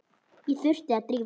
Ég þurfti að drífa mig.